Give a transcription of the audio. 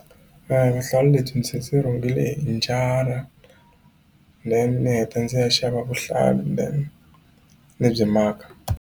Mehe vuhlalu lebyi ndzi rhungile hi njara then ni heta ndzi ya xava vuhlalu then ni byi maka.